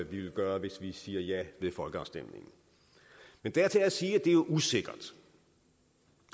vi vil gøre hvis vi siger ja ved folkeafstemningen men dertil er at sige at det er usikkert